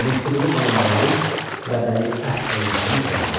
Mehdiqulu xanın varis və vəliəhd olmasının səbəbi.